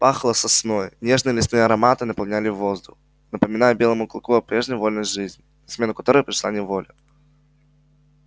пахло сосной нежные лесные ароматы наполняли воздух напоминая белому клыку о прежней вольной жизни на смену которой пришла неволя